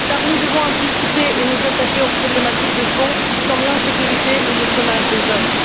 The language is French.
Car nous devons anticiper et nous attaquer aux problématiques de fond, comme l'insécurité ou le chômage des jeunes.